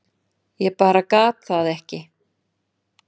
Ég bara gat það ekki.